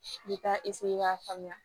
I bɛ taa k'a faamuya